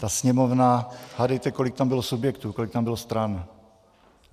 Ta Sněmovna - hádejte, kolik tam bylo subjektů, kolik tam bylo stran?